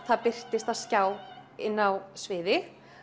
það birtist á skjá inni á sviði